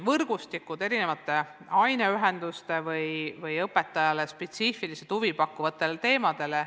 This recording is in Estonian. Võrgustikud eri aineühenduste või õpetajale spetsiifiliselt huvipakkuvatele teemadele.